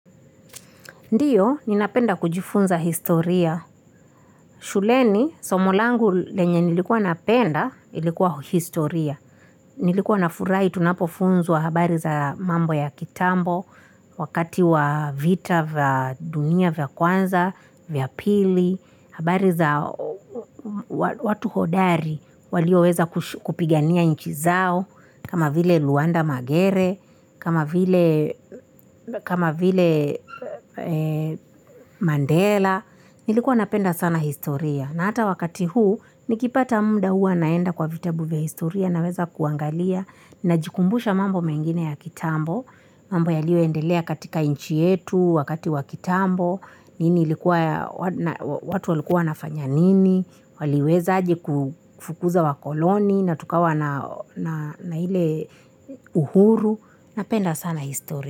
Ndiyo, ninapenda kujifunza historia. Shuleni, somolangu lenye nilikuwa napenda, ilikuwa historia. Nilikuwa na furai tunapofunzwa habari za mambo ya kitambo, wakati wa vita vya dunia vya kwanza, vya pili, habari za watu hodari, walioweza kupigania nchi zao, kama vile Luanda Magere, kama vile Mandela, Nilikuwa napenda sana historia na hata wakati huu nikipata muda huwa naenda kwa vitabu vya historia na weza kuangalia na jikumbusha mambo mengine ya kitambo. Mambo ya liyo endelea katika nchi yetu wakati wa kitambo, watu walikuwa wanafanya nini, waliweza aje kufukuza wa koloni na tukawa na hile uhuru. Napenda sana historia.